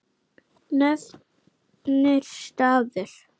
Nefndir starfa